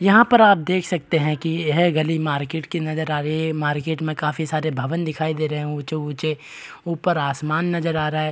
यहाँ पर आप देख सकते हैं कि यह गली मार्केट की नजर आ रही है मार्केट में काफी सारे भवन दिखाई दे रहे हैं ऊँचे-ऊँचे ऊपर आसमान नजर आ रहा है।